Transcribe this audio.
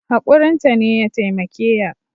Hakurin ta ne ya taimake ya